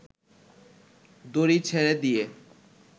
দড়ি ছেড়ে দিয়ে